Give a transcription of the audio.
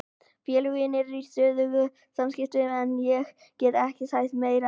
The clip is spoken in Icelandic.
Félögin eru í stöðugum samskiptum en ég get ekki sagt meira en það.